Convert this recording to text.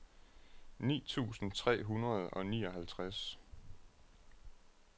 ni tusind tre hundrede og nioghalvtreds